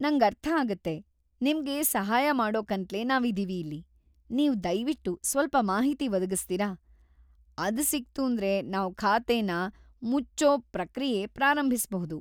ನಂಗ್ ಅರ್ಥ ಆಗತ್ತೆ. ನಿಮ್ಗೆ ಸಹಾಯ ಮಾಡೋಕಂತ್ಲೇ ನಾವಿದೀವಿ ಇಲ್ಲಿ. ನೀವು ದಯ್ವಿಟ್ಟು ಸ್ವಲ್ಪ ಮಾಹಿತಿ ಒದಗಿಸ್ತೀರ? ಅದ್ ಸಿಕ್ತೂಂದ್ರೆ ನಾವು ಖಾತೆನ ಮುಚ್ಚೋ ಪ್ರಕ್ರಿಯೆ ಪ್ರಾರಂಭಿಸ್ಬಹುದು.